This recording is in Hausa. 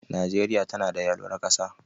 Najeriya tanada yalwar ƙasa.